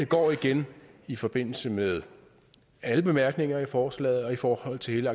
går igen i forbindelse med alle bemærkninger i forslaget og i forhold til